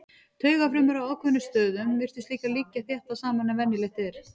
Taugafrumur á ákveðnum stöðum virtust líka liggja þéttar saman en venjulegt er.